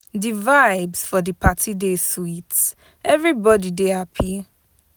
Di vibes for di party dey sweet, everybody dey happy.